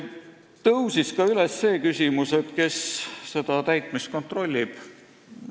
Tõusis üles ka see küsimus, kes seda täitmist kontrollib.